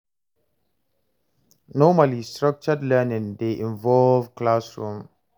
Normally, structured learning dey involve classroom